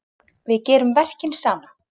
Við gerum verkin saman.